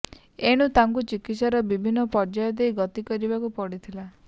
ଏଣୁ ତାଙ୍କୁ ଚିକିତ୍ସାର ବିଭିନ୍ନ ପର୍ଯ୍ୟାୟ ଦେଇ ଗତିକରିବାକୁ ପଡିଥିଲା